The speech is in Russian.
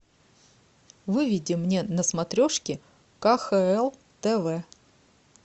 выведи мне на смотрешке кхл тв